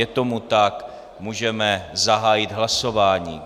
Je tomu tak, můžeme zahájit hlasování.